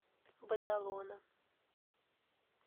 бадалона